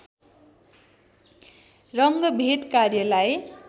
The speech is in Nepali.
रङ्गभेद कार्यलाई